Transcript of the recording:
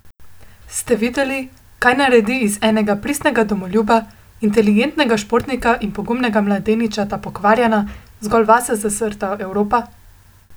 Ste videli, kaj naredi iz enega pristnega domoljuba, inteligentnega športnika in pogumnega mladeniča ta pokvarjena, zgolj vase zazrta Evropa?